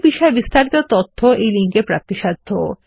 এই বিষয়ে বিস্তারিত তথ্য এই লিঙ্কে প্রাপ্তিসাধ্য